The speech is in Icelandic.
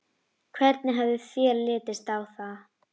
Hvernig hefði þér litist á það?